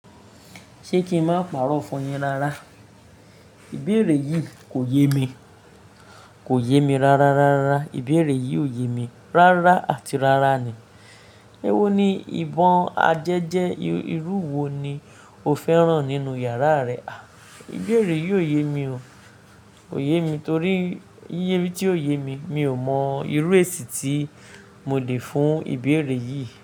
Ṣé kí n má pàrọ̀ fún yín rárá? Ìbéèrè yìí kò yé mi, kò yé mi rárá, rárá. Ìbéèrè yìí ò yé mi rárá àti rárá ni. Ẹ wó ni ìbọn àjẹjẹ́, irú wo ni o fẹ́ràn nínú yàrá rẹ? À, ìbéèrè yìí ò yé mi o. Ko yé mi torí yiye tí ò yé mi, mi ò mọ irú èsì tí mo lè fún ìbéèrè yìí.